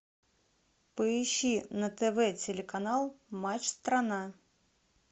поищи на тв телеканал матч страна